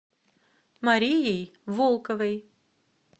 марией волковой